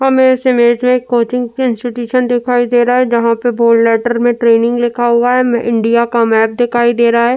हमे इस इमेज में कोचिंग इंस्टिट्यूट दिखाई दे रहा है जहां पे बोल्ड लैटर में ट्रेनिंग लिखा हुआ है इंडिया का मैप दिखाई दे रहा है।